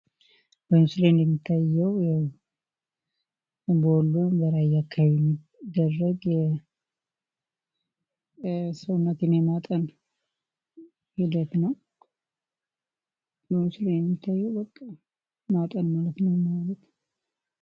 በምስሉ የሚታየው በወሎ አካባቢ የሚገኝ ሰውነትን የማጠን ሂደት ነው። በምስሉ የሚታየው በቃ ማጠን ነው።